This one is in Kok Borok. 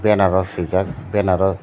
banner o swijak banner o.